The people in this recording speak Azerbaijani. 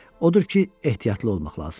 Odur ki, ehtiyatlı olmaq lazım idi.